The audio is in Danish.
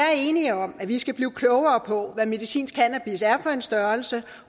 er enige om at vi skal blive klogere på hvad medicinsk cannabis er for en størrelse